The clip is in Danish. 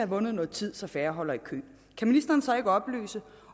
vundet noget tid så færre holder i kø kan ministeren så ikke oplyse